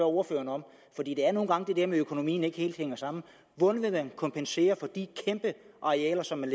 ordføreren om for det er nu engang det der med at økonomien ikke helt hænger sammen hvordan vil man kompensere for de kæmpe arealer som man